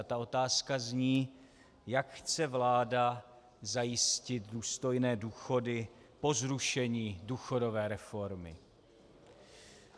A ta otázka zní, jak chce vláda zajistit důstojné důchody po zrušení důchodové reformy.